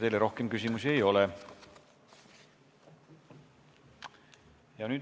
Teile rohkem küsimusi ei ole.